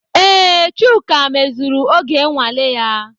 Ee, Chuka mezuru oge nnwale ya.